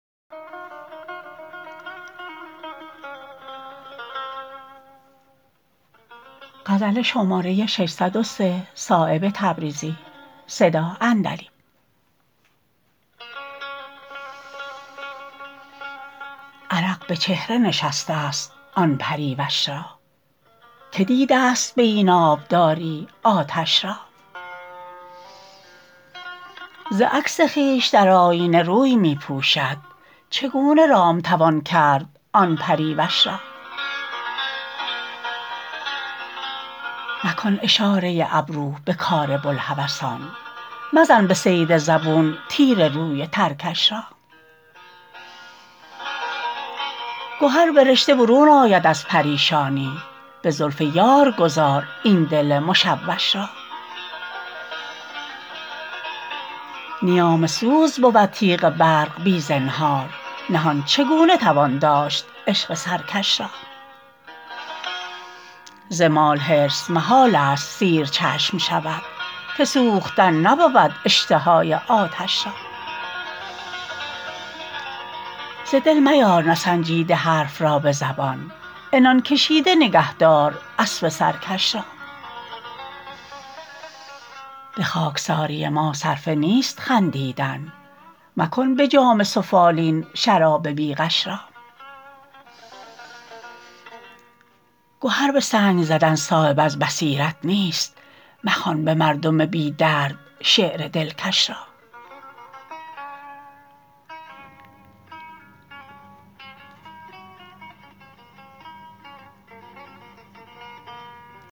عرق به چهره نشسته است آن پریوش را که دیده است به این آبداری آتش را ز عکس خویش در آیینه روی می پوشد چگونه رام توان کرد آن پریوش را مکن اشاره ابرو به کار بوالهوسان مزن به صید زبون تیر روی ترکش را گهر به رشته برون آید از پریشانی به زلف یار گذار این دل مشوش را نیام سوز بود تیغ برق بی زنهار نهان چگونه توان داشت عشق سرکش را زمال حرص محال است سیر چشم شود که سوختن نبود اشتهای آتش را ز دل میار نسنجیده حرف را به زبان عنان کشیده نگه دار اسب سرکش را به خاکساری ما صرفه نیست خندیدن مکن به جام سفالین شراب بی غش را گهر به سنگ زدن صایب از بصیرت نیست مخوان به مردم بی درد شعر دلکش را